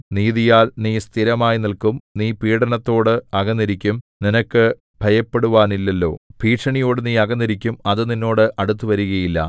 നീതിയാൽ നീ സ്ഥിരമായി നില്ക്കും നീ പീഡനത്തോട് അകന്നിരിക്കും നിനക്ക് ഭയപ്പെടുവാനില്ലല്ലോ ഭീഷണിയോടു നീ അകന്നിരിക്കും അത് നിന്നോട് അടുത്തുവരുകയില്ല